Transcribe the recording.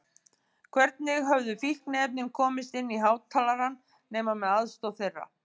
Hvernig höfðu fíkniefnin komist inn í hátalarann nema með aðstoð þeirra?